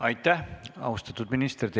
Aitäh, austatud minister!